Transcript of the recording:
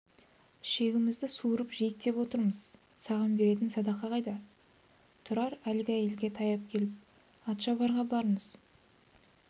ішегімізді суырып жейік деп отырмыз саған беретін садақа қайда тұрар әлгі әйелге таяп келіп атшабарға барыңыз